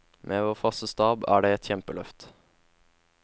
Med vår faste stab er det et kjempeløft.